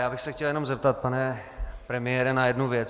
Já bych se chtěl jenom zeptat, pane premiére, na jednu věc.